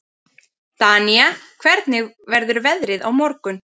Danía, hvernig verður veðrið á morgun?